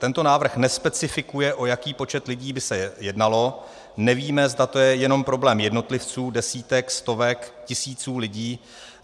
Tento návrh nespecifikuje, o jaký počet lidí by se jednalo, nevíme, zda je to jenom problém jednotlivců, desítek, stovek, tisíců lidí.